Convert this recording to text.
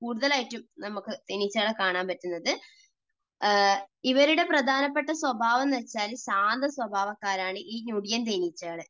കൂടുതൽ ആയിട്ടും നമുക്ക് തേനീച്ചകളെ കാണാൻ പറ്റുന്നത്. ഇവരുടെ പ്രധാനപ്പെട്ട സ്വഭാവം എന്ന് വെച്ചാൽ ശാന്ത സ്വഭാവക്കാരാണ് ഈ ഞൊടിയൻ തേനീച്ചകൾ.